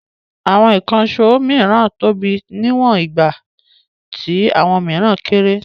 Àwọn ìkànṣó mìíràn tóbi níwọ̀n nígbà tí àwọn mìíràn kéré.